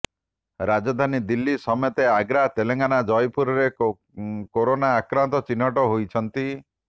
ରାଜଧାନୀ ଦିଲ୍ଲୀ ସମେତ ଆଗ୍ରା ତେଲେଙ୍ଗାନା ଜୟପୁରରେ କୋରୋନା ଆକ୍ରାନ୍ତ ଚିହ୍ନଟ ହୋଇଛନ୍ତି